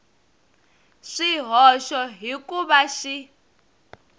swihoxo hi ku va xi